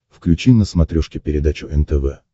включи на смотрешке передачу нтв